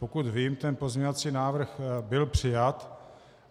Pokud vím, ten pozměňovací návrh byl přijat.